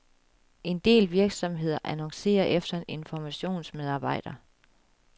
En del virksomheder annoncerer efter en informationsmedarbejder.